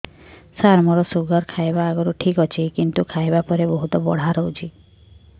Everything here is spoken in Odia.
ସାର ମୋର ଶୁଗାର ଖାଇବା ଆଗରୁ ଠିକ ଅଛି କିନ୍ତୁ ଖାଇବା ପରେ ବହୁତ ବଢ଼ା ରହୁଛି